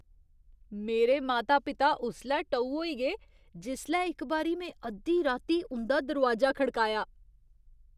मेरे माता पिता उसलै टऊ होई गे जिसलै इक बारी में अद्धी राती उं'दा दरोआजा खड़काया।